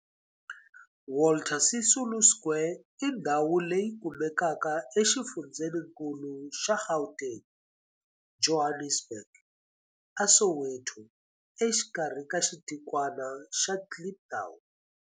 Walter Sisulu Square i ndhawu leyi kumekaka exifundzheninkulu xa Gauteng, Johannesburg, a Soweto, exikarhi ka xitikwana xa Kliptown.